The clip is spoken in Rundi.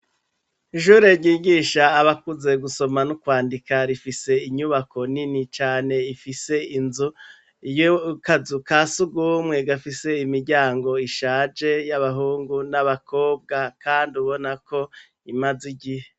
Ishure ryigisha abakuze gusoma no kwandika, Rifise Inyubako nini Cane ifise Inzu y'akazu ka sugumwe, gafise Imiryango ishaje, y'Abahungu n'Abakobwa Kandi ubona ko imaze igihe.